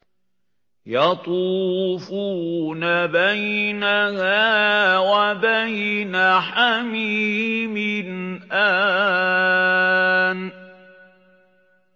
يَطُوفُونَ بَيْنَهَا وَبَيْنَ حَمِيمٍ آنٍ